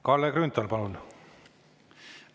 Kalle Grünthal, palun!